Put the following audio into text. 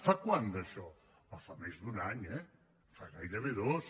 fa quant d’això fa més d’un any eh fa gairebé dos